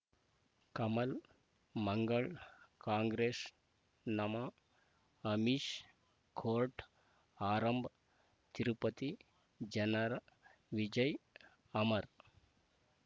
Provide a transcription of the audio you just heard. ಕಮಲ್ ಮಂಗಳ್ ಕಾಂಗ್ರೆಸ್ ನಮಃ ಅಮಿಷ್ ಕೋರ್ಟ್ ಆರಂಭ್ ತಿರುಪತಿ ಜನರ ವಿಜಯ ಅಮರ್